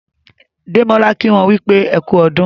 Demola kí wón wípé ẹkú ọdún.